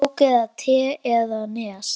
Kók eða te eða Nes?